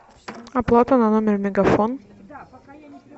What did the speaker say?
оплата на номер мегафон